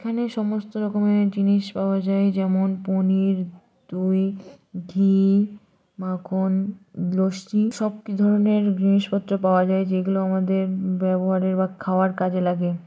এখানে সমস্ত রকমের জিনিস পাওয়া যায় যেমন পনির দই ঘি মাখন লস্যি সব ধরনের জিনিসপত্র পাওয়া যায় যেগুলো আমাদের ব্যবহারের বা খাওয়ার কাজে লাগে।